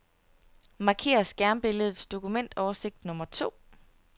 Marker skærmbilledets dokumentoversigt nummer to.